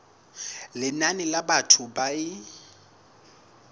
lenane la batho ba e